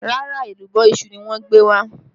Rárá, èlùbọ́ iṣu ni wọ́n gbé wá